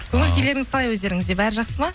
көңіл күйлеріңіз қалай өздеріңізде бәрі жақсы ма